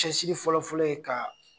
Cɛsiri fɔlɔfɔlɔ ye ka.